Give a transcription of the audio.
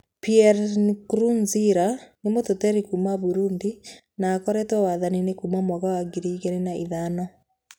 Pierre Nkurunziza nĩ mũteti kuuma Burundi na akoretwo wathani-inĩ kuuma mwaka wa ngiri igĩrĩ na ithano.